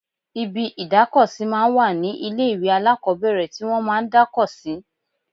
Ibi ìdáko sí máa ń wà ní ilé ìwé alákọ́bẹ̀rẹ̀ tí wọ́n máa ń dáko sí